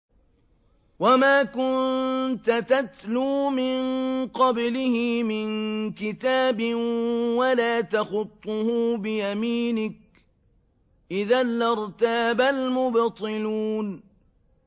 وَمَا كُنتَ تَتْلُو مِن قَبْلِهِ مِن كِتَابٍ وَلَا تَخُطُّهُ بِيَمِينِكَ ۖ إِذًا لَّارْتَابَ الْمُبْطِلُونَ